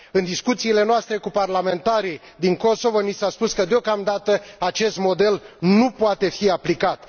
În discuțiile noastre cu parlamentarii din Kosovo ni s a spus că, deocamdată, acest model nu poate fi aplicat.